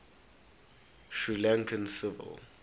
sri lankan civil